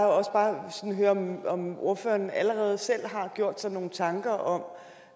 også bare høre om ordføreren allerede selv har gjort sig nogle tanker om